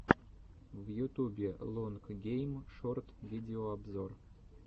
в ютубе лонг гейм шорт видеообзор